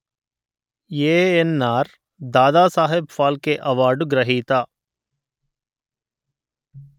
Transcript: ANR Dadasaheb Phalke award గ్రహీత